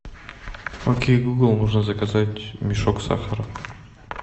окей гугл нужно заказать мешок сахара